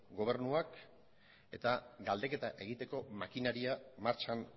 gobernuak eta galdeketa egiteko makinaria martxan